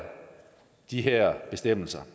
de her bestemmelser